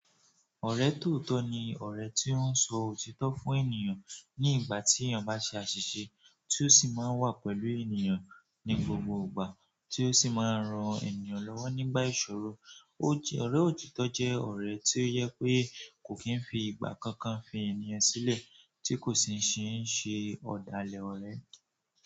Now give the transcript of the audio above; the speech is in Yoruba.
Ọ̀rẹ́ tòótọ́ ni ọ̀rẹ́ tí wón ń sọ òtítọ́ fún ènìyàn ní ìgbà tí ènìyàn bá n ṣe àṣìṣe tí ó sì máa ń wà pẹ̀lú ènìyàn ní gbogbo ìgbà tí ó sì máa ń ran ènìyàn lọ́wọ́ nígbà ìṣòro. Ọ̀rẹ́ òtítọ́ jẹ́ ọ̀rẹ́ tí ó jẹ pé kò kí n fi ìgbà kankan fi ènìyàn sílẹ̀ tí kò sì ní ṣe ọ̀dàlẹ̀ ọ̀rẹ́.